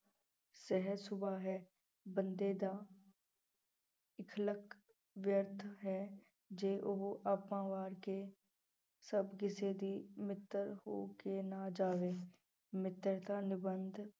ਸਹਿਜ ਸੁਭਾ ਹੈ ਬੰਦੇ ਦਾ ਵਿਅਰਥ ਹੈ ਜੇ ਉਹ ਆਪਾਂ ਵਾਰ ਕੇ ਸਭ ਕਿਸੇ ਦੀ ਮਿੱਤਰ ਹੋ ਕੇ ਨਾ ਜਾਵੇ ਮਿੱਤਰਤਾ ਨਿਬੰਧ